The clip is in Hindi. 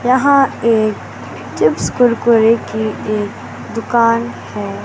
यहाँ एक चिप्स कुरकुरे की एक दुकान हैं।